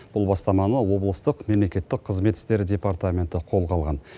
бұл бастаманы облыстық мемлекеттік қызмет істері департаменті қолға алған